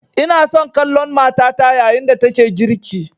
Ina son kallon matata yayin da take girki